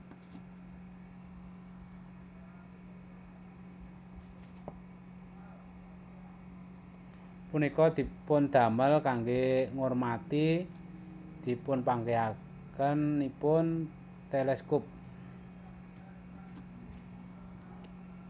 Punika dipundamel kangge ngurmati dipunpanggihakenipun teleskop